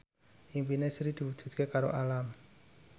impine Sri diwujudke karo Alam